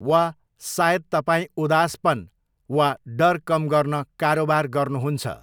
वा सायद तपाईँ उदासपन वा डर कम गर्न कारोबार गर्नुहुन्छ।